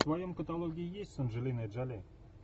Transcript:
в твоем каталоге есть с анджелиной джоли